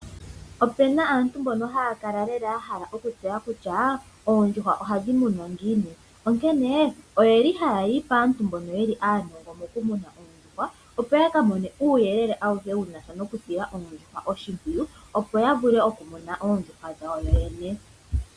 Ope na aantu mbono haya kala ya hala okutseya kutya oondjuhwa ohadhi munwa ngiini, onkene ohaya yi paantu mbono ye li aanongo mokumuna oondjuhwa, opo ya ka mone uuyelele auhe wu na sha nokusila oondjuhwa oshimpwiyu, opo ya vule okumuna oondjuhwa dhawo yoyene.